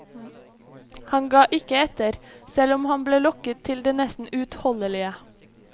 Han ga ikke etter, selv om han ble lokket til det nesten uutholdelige.